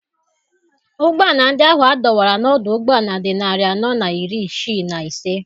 Ụgbọala ndị ahụ a dọwara n'ọdụ ụgbọala dị narị anọ na iri isii na ise.